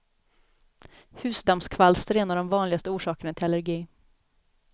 Husdammskvalster är en av de vanligaste orsakerna till allergi.